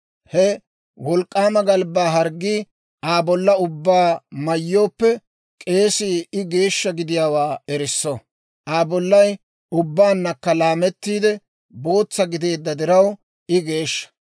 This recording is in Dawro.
He wolk'k'aama galbbaa harggii Aa bollaa ubbaa mayyooppe, k'eesii I geeshsha gidiyaawaa erisso; Aa bollay ubbaannakka laamettiide bootsa gideedda diraw, I geeshsha.